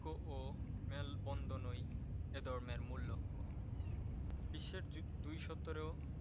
লক্ষ্য ও মেলবন্ধন এই ধর্মের মূল লক্ষ। বিশ্বের দুইশতর ও